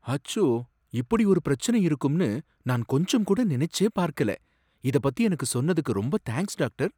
அச்சோ! இப்படி ஒரு பிரச்சனை இருக்கும்னு நான் கொஞ்சம் கூட நினைச்சே பார்க்கல. இத பத்தி எனக்கு சொன்னதுக்கு ரொம்ப தேங்க்ஸ் டாக்டர்.